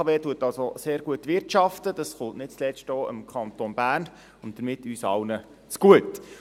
Die BKW wirtschaftet also sehr gut, dies kommt nicht zuletzt auch dem Kanton Bern und damit uns allen zugute.